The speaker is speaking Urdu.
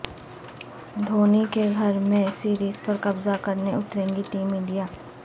دھونی کے گھر میں سریز پر قبضہ کرنے اترے گی ٹیم انڈیا